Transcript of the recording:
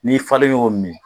N'i falen y'o min